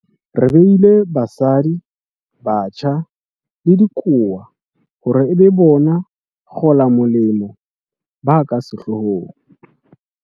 Re beile basadi, batjha le dikowa hore e be bona bakgolamolemo ba ka sehlohong.